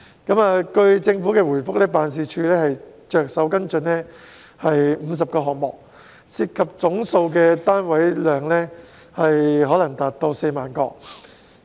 據政府的回覆，辦事處正着手跟進50個項目，涉及的總單位數量可能達到4萬個。